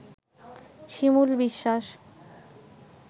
Shimul Biswas